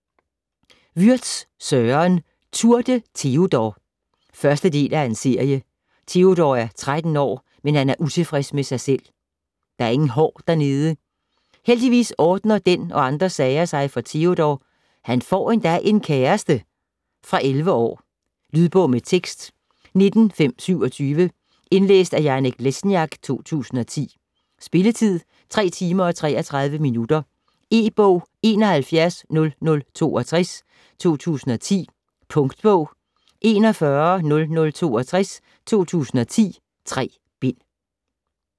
Würtz, Søren: Tour de Teodor 1. del af serie. Teodor er 13 år, men han er utilfreds med sig selv - der er ingen hår dernede. Heldigvis ordner den og andre sager sig for Teodor, han får endda en kæreste! Fra 11 år. Lydbog med tekst 19527 Indlæst af Janek Lesniak, 2010. Spilletid: 3 timer, 33 minutter. E-bog 710062 2010. Punktbog 410062 2010. 3 bind.